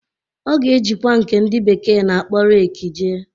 Ọ ga-ejikwa nke ndị bekee na-akpọ reekị jee.